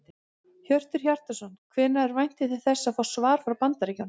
Hjörtur Hjartarson: Hvenær væntið þið þess að fá svar frá Bandaríkjunum?